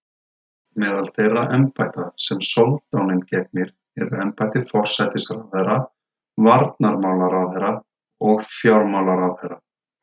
Meðal þeirra embætta sem soldáninn gegnir eru embætti forsætisráðherra, varnarmálaráðherra og fjármálaráðherra.